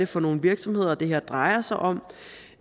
for nogle virksomheder det her drejer sig om